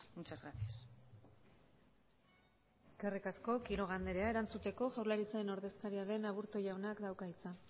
muchas gracias eskerrik asko quiroga andrea erantzuteko jaurlaritzaren ordezkaria den aburto jaunak dauka hitza